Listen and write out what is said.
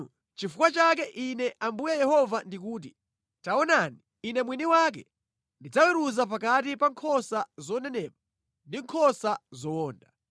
“ ‘Nʼchifukwa chake Ine Ambuye Yehova ndikuti: Taonani, Ine mwini wake ndidzaweruza pakati pa nkhosa zonenepa ndi nkhosa zowonda.